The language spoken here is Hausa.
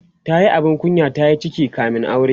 tayi abin kunya tayi ciki kamin aure